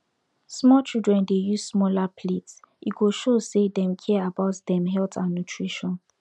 small childern dey use smaller plates e go show say dem care about dem health and nutrition